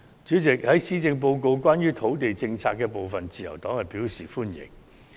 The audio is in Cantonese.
主席，對於施政報告有關土地政策的部分，自由黨表示歡迎。